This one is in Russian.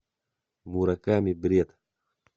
мураками бред